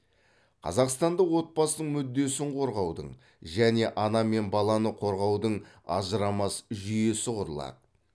қазақстанда отбасының мүддесін қорғаудың және ана мен баланы қорғаудың ажырамас жүйесі құрылады